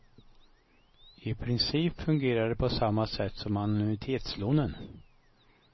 I princip fungerar det på samma sätt som annuitetslånen.